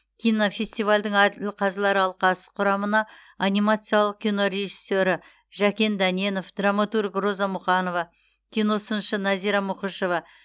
кинофестивальдің әділқазылар алқасы құрамына анимациялық кино режиссері жәкен дәненов драматург роза мұқанова киносыншы назира мұқышева